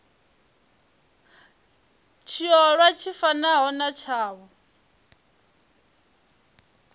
tshiolwa tshi fanaho na tshavho